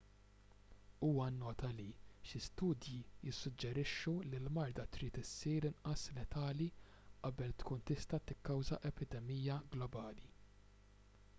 huwa nnota li xi studji jissuġġerixxu li l-marda trid issir inqas letali qabel tkun tista' tikkawża epidemija globali